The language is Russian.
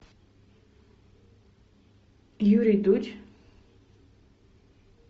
юрий дудь